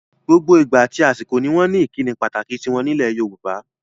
Gbogbo ìgbà àti àsìkò pátá ni wọ́n ní ìkíni pàtàkì tiwọn nílẹ̀ Yorùbá.